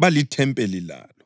balithempeli lalo.